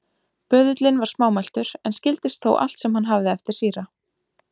Böðullinn var smámæltur, en skildist þó allt sem hann hafði eftir síra